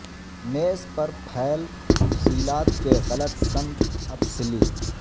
میز پر پھیل تفصیلات کے غلط سمت اپ سلی